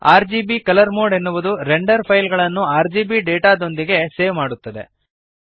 RGB colour mode ಎನ್ನುವುದು render file ಗಳನ್ನು RGB data ದೊಂದಿಗೆ ಸೇವ್ ಮಾಡುತ್ತದೆ